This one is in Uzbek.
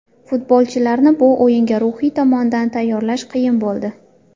Futbolchilarni bu o‘yinga ruhiy tomondan tayyorlash qiyin bo‘ldi.